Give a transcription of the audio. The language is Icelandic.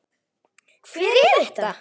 Hver er þetta?